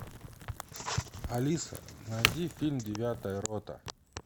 алиса найди фильм девятая рота